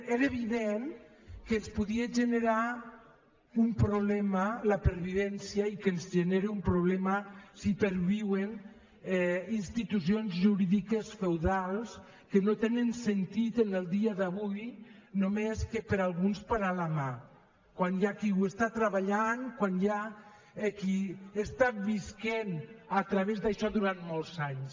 era evident que ens podia generar un proble ma la pervivència i que ens genera un problema si perviuen institucions jurídiques feudals que no tenen sentit en el dia d’avui només que per a alguns parar la mà quan hi ha qui ho està treballant quan hi ha qui ha estat vivint a través d’això durant molts anys